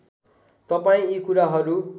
तपाईँ यी कुराहरू